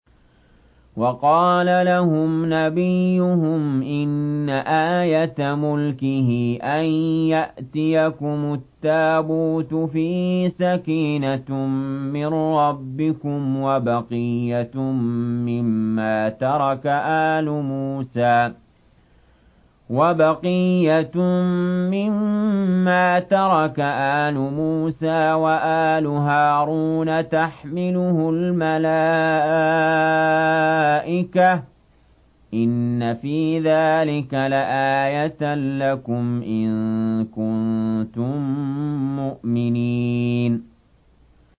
وَقَالَ لَهُمْ نَبِيُّهُمْ إِنَّ آيَةَ مُلْكِهِ أَن يَأْتِيَكُمُ التَّابُوتُ فِيهِ سَكِينَةٌ مِّن رَّبِّكُمْ وَبَقِيَّةٌ مِّمَّا تَرَكَ آلُ مُوسَىٰ وَآلُ هَارُونَ تَحْمِلُهُ الْمَلَائِكَةُ ۚ إِنَّ فِي ذَٰلِكَ لَآيَةً لَّكُمْ إِن كُنتُم مُّؤْمِنِينَ